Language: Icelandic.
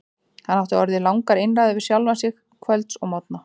Hann átti orðið langar einræður við sjálfan sig kvölds og morgna.